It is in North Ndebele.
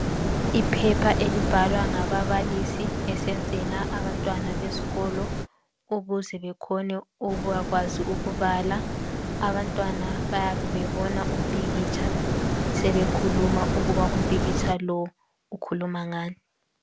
Iphepha elibhalwa ngababalise besenzela abantwana besikolo ukuze bekhone ukubakwazi ukubala. Abantwana bayabe bebona umpikitsha sebekhuluma ukuba umpikitsha lo ukhuluma ngani.